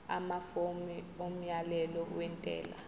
amafomu omyalelo wentela